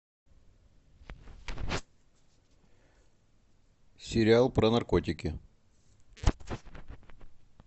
сериал про наркотики